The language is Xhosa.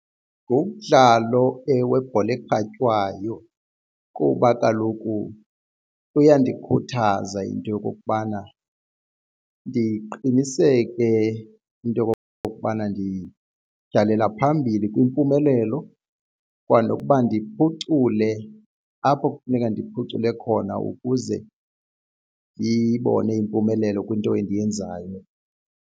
Ngumdlalo owebhola ekhatywayo kuba kaloku kuyandikhuthaza iinto okokubana ndiqiniseke into okokubana ndityhalela phambili kwimpumelelo kwanokuba ndiphucule apho kufuneka ndiphucule khona ukuze ndiyibone impumelelo kwinto endiyenzayo.